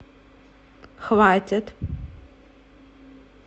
хватит